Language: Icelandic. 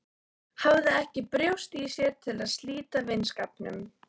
Hafði ekki brjóst í sér til að slíta vinskapnum.